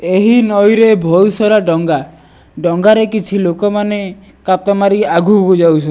ଏହି ନଈରେ ବହୁତ ସାରା ଡଙ୍ଗା ଡଙ୍ଗାରେ କିଛି ଲୋକମାନେ କାତ ମାରିକି ଆଗକୁ ଯାଉଚ --